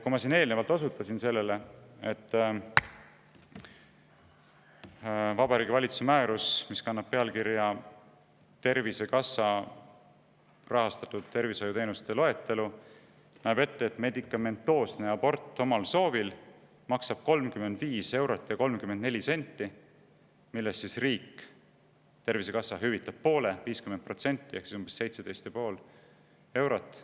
Ma siin eelnevalt juba osutasin sellele, et Vabariigi Valitsuse määrus, mis kannab pealkirja "Tervisekassa tervishoiuteenuste loetelu", näeb ette, et medikamentoosne abort omal soovil maksab 35 eurot ja 34 senti, millest riik, Tervisekassa hüvitab poole: 50% ehk umbes 17,5 eurot.